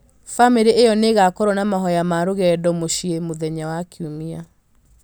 famĩlĩ ĩyo nĩ ĩgaakorũo na mahoya ma rũgendo mũciĩ mũthenya wa Kiumia.